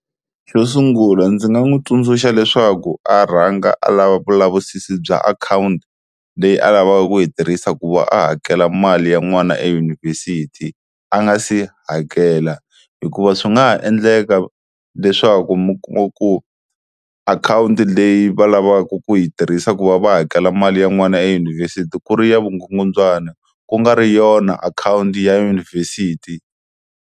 Xo sungula ndzi nga n'wi tsundzuxa leswaku a rhanga a lava vulavisisi bya akhawunti leyi a lavaka ku yi tirhisa ku va a hakela mali ya n'wana eyunivhesiti a nga se hakela, hikuva swi nga ha endleka leswaku mi kuma ku akhawunti leyi va lavaka ku yi tirhisa ku va va hakela mali ya n'wana eyunivhesiti ku ri ya vugungundzwana ku nga ri yona akhawunti ya yunivhesiti.